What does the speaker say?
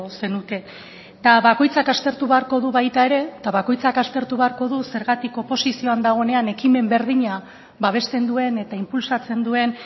zenuke eta bakoitzak aztertu beharko du baita ere eta bakoitzak aztertu beharko du zergatik oposizioan dagoenean ekimen berdina babesten duen eta inpulsatzen duen